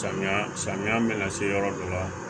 Samiya samiya mana se yɔrɔ dɔ la